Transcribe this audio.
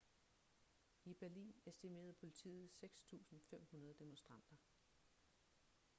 i berlin estimerede politiet 6.500 demonstranter